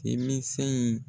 Deminsɛnin